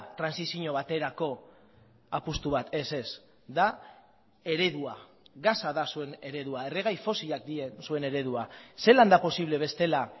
trantsizio baterako apustu bat ez ez da eredua gasa da zuen eredua erregai fosilak dira zuen eredua zelan da posible bestela